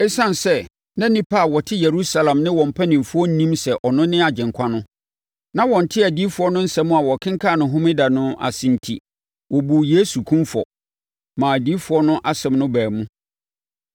Esiane sɛ na nnipa a na wɔte Yerusalem ne wɔn mpanimfoɔ nnim sɛ ɔno ne Agyenkwa no, na wɔnte adiyifoɔ no nsɛm a wɔkenkan no Homeda no ase no enti, wɔbuu Yesu kumfɔ, maa adiyifoɔ no nsɛm no baa mu.